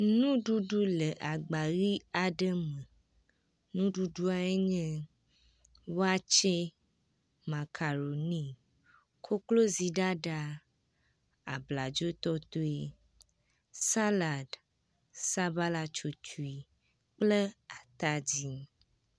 Nuɖuɖu le agba ʋɛ̃ aɖe me. Nuɖuɖuawoe nye waste, makaroni, kokloziɖaɖa, abladzotɔtɔe, salad, sabalatsotsoe kple atadi.